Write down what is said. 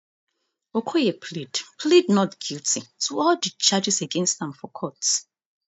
okoye plead plead not guilty to all di charges against am for court